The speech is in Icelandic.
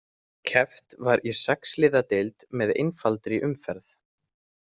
Keppt var í sex liða deild með einfaldri umferð.